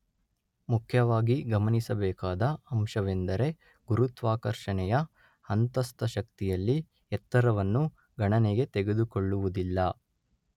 ಮುಖ್ಯವಾಗಿ ಗಮನಿಸಬೇಕಾದ ಅಂಶವೆಂದರೆ ಗುರುತ್ವಾಕರ್ಷಣೆಯ ಅಂತಸ್ಥ ಶಕ್ತಿಯಲ್ಲಿ ಎತ್ತರವನ್ನು ಗಣನೆಗೆ ತೆಗೆದುಕೊಳ್ಳುವುದಿಲ್ಲ.